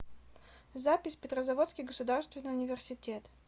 запись петрозаводский государственный университет